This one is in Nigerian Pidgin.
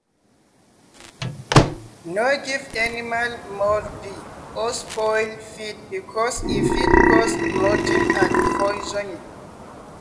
no give animal mouldy or spoiled feed because e fit cause bloating and poisoning.